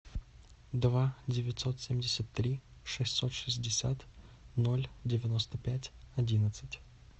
два девятьсот семьдесят три шестьсот шестьдесят ноль девяносто пять одиннадцать